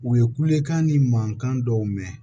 U ye kulekan ni mankan dɔw mɛn